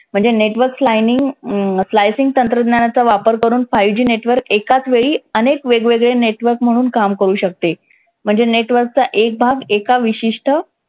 म्हणजे network hmm तंत्रज्ञानाचा वापर करून five G network एकाचवेळी अनेक वेगवेगळे network म्हणून काम करू शकते. म्हणजे network चा एक भाग एका विशिष्ट